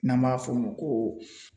N'an b'a f'o ma ko